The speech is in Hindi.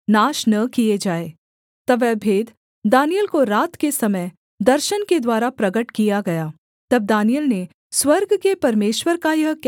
तब वह भेद दानिय्येल को रात के समय दर्शन के द्वारा प्रगट किया गया तब दानिय्येल ने स्वर्ग के परमेश्वर का यह कहकर धन्यवाद किया